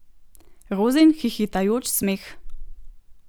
Rozin hihitajoč smeh.